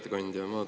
Hea ettekandja!